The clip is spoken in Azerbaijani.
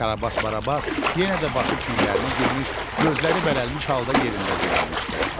Karabas Barabas yenə də başı çiyinlərə girmiş, gözləri bərələmiş halda yerində dayanmışdı.